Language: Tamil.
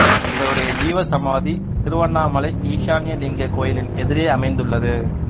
இவருடைய ஜீவ சமாதி திருவண்ணாமலை ஈசான்ய லிங்க கோயிலின் எதிரே அமைந்துள்ளது